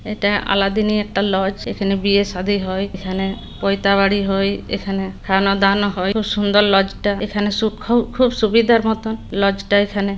এটা আলাদিনের একটা লজ । এখানে বিয়ে সাধি হয়। এখানে পয়তা গাড়ি। এখানে খানাদানা হয়। খুব সুন্দর লজটা। এখানে খুব সুবিধার মতন লজটা এখানে--